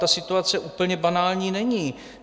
Ta situace úplně banální není.